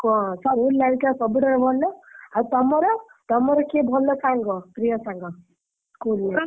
ଙ୍କ ସବୁଠାରୁ ଭଲ ଆଉ ତମର? ତମର କିଏ ଭଲ ସାଙ୍ଗ ପ୍ରିୟ ସାଙ୍ଗ? school life ରେ ?